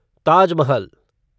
Taj Mahal